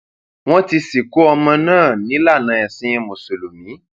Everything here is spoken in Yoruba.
wọn ti sìnkú ọmọ náà nílànà ẹsìn mùsùlùmí